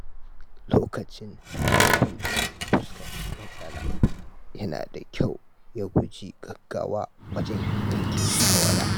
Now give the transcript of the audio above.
Lokacin da mutum ya fuskanci matsala, yana da kyau ya guji gaggawa wajen yanke shawara.